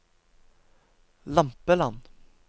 Lampeland